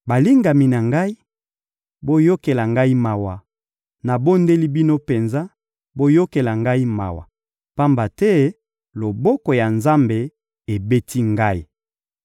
Balingami na ngai, boyokela ngai mawa, nabondeli bino penza, boyokela ngai mawa, pamba te loboko ya Nzambe ebeti ngai.